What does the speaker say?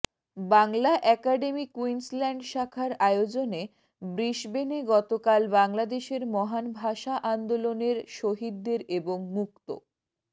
Bangla academy Queensland শাখার আয়োজনে ব্রিসবেনে গতকাল বাংলাদেশের মহান ভাষা আন্দোলনের শহীদদের এবং মুক্ত